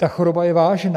Ta choroba je vážná.